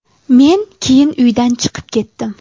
Men keyin uydan chiqib ketdim.